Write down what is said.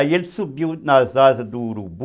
Aí ele subiu nas asas do urubu.